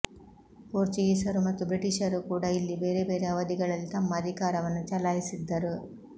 ಪೋರ್ಚುಗೀಸರು ಮತ್ತು ಬ್ರಿಟೀಷರೂ ಕೂಡ ಇಲ್ಲಿ ಬೇರೆ ಬೇರೆ ಅವಧಿಗಳಲ್ಲಿ ತಮ್ಮ ಅಧಿಕಾರವನ್ನು ಚಲಾಯಿಸಿದ್ದರು